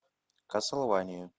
кастлвания